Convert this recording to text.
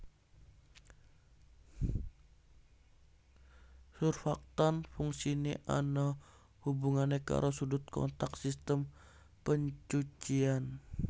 Surfaktan fungsiné ana hubungané karo sudut kontak sistem pencucian